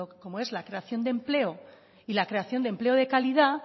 como es la creación de empleo y la creación de empleo de calidad